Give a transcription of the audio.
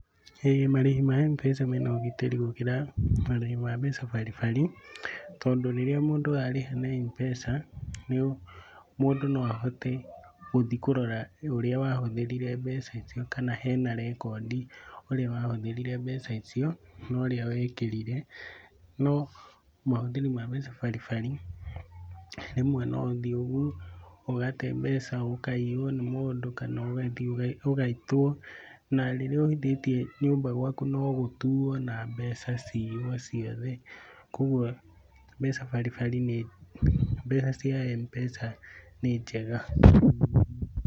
Ĩĩ marĩhi ma Mpesa mena ũgitĩri gũkĩra marĩhi ma mbeca baribari, tondũ rĩrĩa mũndũ arĩha na Mpesa, mũndũ noahote gũthiĩ kũrora ũrĩa wahũthĩrire mbeca icio kana hena rekondi ũrĩa wahũthĩrire mbeca icio na ũrĩa wekĩrire . No mahũthĩri ma mbeca baribari, rĩmwe noũthiĩ ũguo ũgate mbeca, ũkaiywo nĩ mũndũ kana ũgathiĩ ũgaitwo. Narĩrĩa ũhithĩtie nyũmba gwaku, nogutuo na mbeca ciywociothe. Kuogwo mbeca baribari nĩ, mbeca cia mpesa nĩnjega.